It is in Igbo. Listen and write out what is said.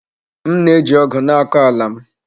M na-eji ọgụ na-akọ ala m.